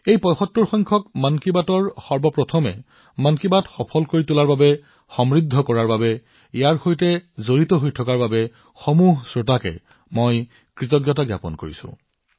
আজি মই এই ৭৫ তম খণ্ডৰ সময়ত মন কী বাতক সফল কৰি তোলা সমৃদ্ধ কৰি তোলা আৰু ইয়াৰ সৈতে সংযোজিত হৈ থকাৰ বাবে প্ৰতিজন শ্ৰোতালৈ কৃতজ্ঞতা জ্ঞাপন কৰিছো